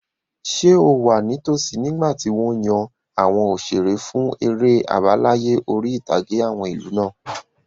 Ṣé o wà ní tosí nígbàtí wọ́n yan àwọn òṣeré fún eré àbáláyé orí-ìtàgé àwọn ìlú náà?